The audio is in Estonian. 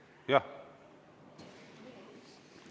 Jah.